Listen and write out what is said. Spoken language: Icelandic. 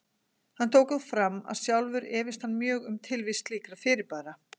Hann tekur þó fram að sjálfur efist hann mjög um tilvist slíkra fyrirbæra.